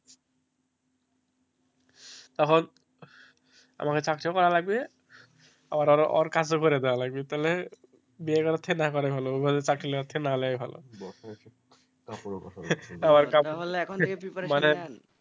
তখন আমাকে চাকরি করাও লাগবে ওর~ওর কাজও করাও লাগবে তাহলে বিয়ে করার থেকে না করা ভালো, চাকরি থেকে না লেওয়া ভালো,